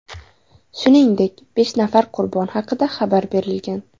Shuningdek, besh nafar qurbon haqida xabar berilgan.